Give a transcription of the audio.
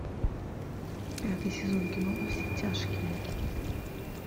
пятый сезон кино во все тяжкие